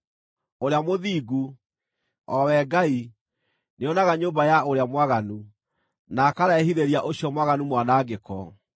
Ũrĩa Mũthingu, o we Ngai, nĩonaga nyũmba ya ũrĩa mwaganu, na akarehithĩria ũcio mwaganu mwanangĩko.